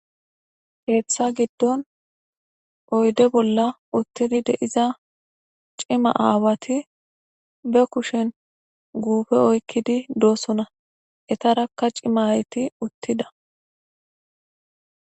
Keththa giddon oyde bolla uttidi deiza cima aawati be kushen guupe oykkidi doosona etarakka cima ayeti uttida.